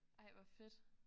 Ej hvor fedt